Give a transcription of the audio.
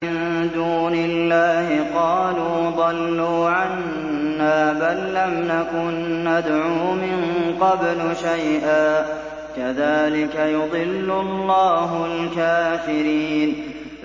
مِن دُونِ اللَّهِ ۖ قَالُوا ضَلُّوا عَنَّا بَل لَّمْ نَكُن نَّدْعُو مِن قَبْلُ شَيْئًا ۚ كَذَٰلِكَ يُضِلُّ اللَّهُ الْكَافِرِينَ